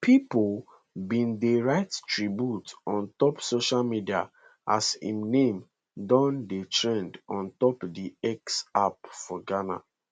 pipo bin dey write tributes on top social media as im name don dey trend on top di x app for ghana